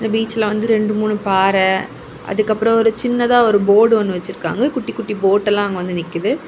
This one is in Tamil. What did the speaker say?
இந்த பீச்ல வந்து ரெண்டு மூணு பாற அதுக்கப்பறோ ஒரு சின்னதா ஒரு போர்டு ஒன்னு வச்சிருக்காங்க குட்டி குட்டி போட் எல்லாம் அங்க வந்து நிக்குது.